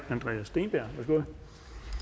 tage mere